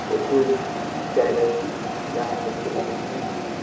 একটু sad আছি দেখা করতে পারছি না